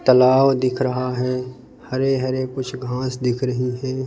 तालाब दिख रहा है हरे हरे कुछ घास दिख रही हैं।